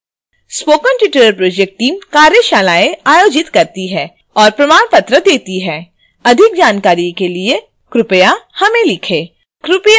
spoken tutorial project team कार्यशालाएं आयोजित करती है और प्रमाण पत्र देती है अधिक जानकारी के लिए कृपया हमें लिखें